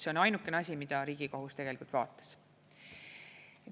See on ainuke asi, mida Riigikohus vaatas.